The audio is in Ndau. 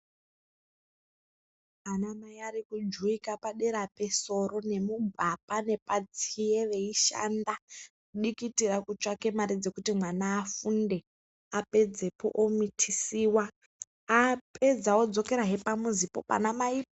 Anamai arikujuwika padera pesoro nemugwapa nepatsiye veishanda. Kudikitira kutsvake mare dzekuti mwana afunde. Apedzepo omitisiwa. Apedza odzokera pamuzipo panamai po.